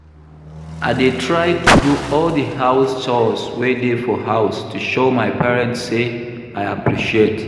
I dey try to do all the house chores wey dey for house to show my parents say I appreciate